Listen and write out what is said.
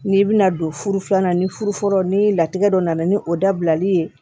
N'i bɛna don furu filanan ni furu ni latigɛ dɔ nana ni o dabilali ye